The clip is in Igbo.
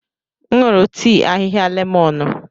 M nụrụ tii ahịhịa lemọnụ.